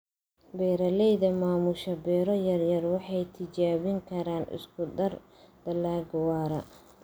Beeralayda maamusha beero yaryar waxay tijaabin karaan isku darka dalagga waara.